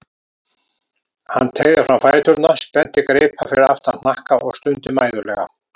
Hann teygði fram fæturna, spennti greipar fyrir aftan hnakka og stundi mæðulega.